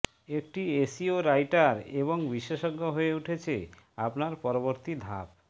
একটি SEO writer এবং বিশেষজ্ঞ হয়ে উঠছে আপনার পরবর্তী ধাপ